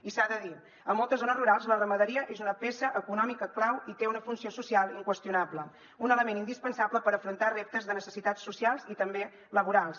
i s’ha de dir a moltes zones rurals la ramaderia és una peça econòmica clau i té una funció social inqüestionable és un element indispensable per afrontar reptes de necessitats socials i també laborals